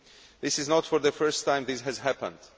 This is not the first time this has happened.